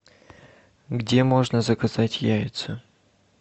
где можно заказать яйца